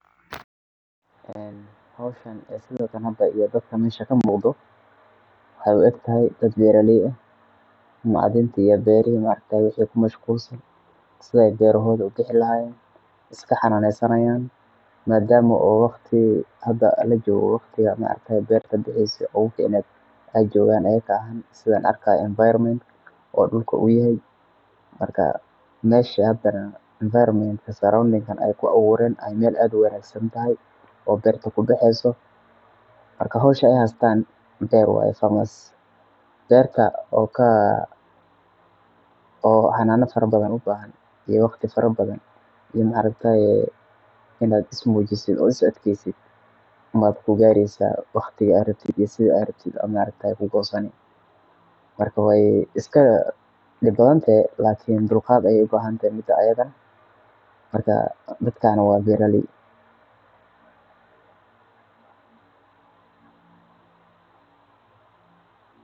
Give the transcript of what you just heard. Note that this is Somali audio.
Hawshan, sawirkaan iyo daadka mesha kamuqdo waxay uu eektahay daad beera lay aah macdanta iyo beerihi inay kumashgulsaan sidhi ay beerohodhi ukici lahayeen iska xananysanyan maadama oo waqti lajogo waqti beerta ay baxayse uga ficaneed ay joogan ayaka aah sidhaan arkayo environment oo dulka oo yahay marka meesha hadana enviroment, surrounding aay ku awooren ay meel aad uwangsanthy oo beerta kubaxeso marka hawsha ay haystan beerwaye. Beerta ay hystaan oo xanana farabadhan ubahan iyo waqti farabdhan iyo ma arktaye inad ismujisid ay is adkaeysid umaa ku gaari waqti aad rabtit iyo sidha aad rabtit unbaa kugosani. Marka way iska dib bathantehee lakin dulgaad aay ubahantehe mid ayadha. Marka midkaan waa beera lay.